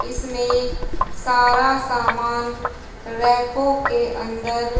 इसमें सारा सामान रैकों के अंदर--